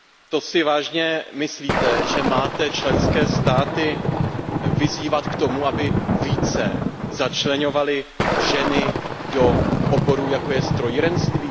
To si vážně myslíte, že máte členské státy vyzývat k tomu, aby více začleňovaly ženy do oborů, jako je strojírenství?